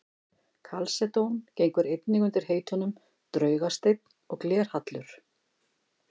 Kalsedón gengur einnig undir heitunum draugasteinn og glerhallur.